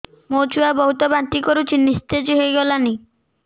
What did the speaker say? ମୋ ଛୁଆ ବହୁତ୍ ବାନ୍ତି କରୁଛି ନିସ୍ତେଜ ହେଇ ଗଲାନି